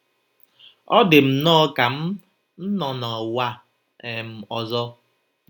Ọ dị m nnọọ ka m̀ nọ n’ụwa um ọzọ.